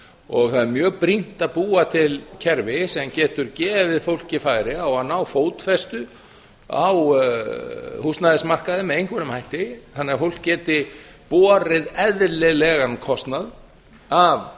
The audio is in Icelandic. og það er mjög brýnt að búa til kerfi sem getur gefið fólki færi á að ná fótfestu á húsnæðismarkaði með einhverjum hætti þannig að fólk geti borið eðlilegan kostnað af